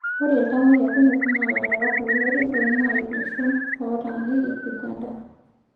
Ore iltamoyiak kumok naa larewak loororin oingua iloshon otaaniki Uganda.